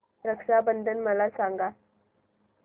रक्षा बंधन मला सांगा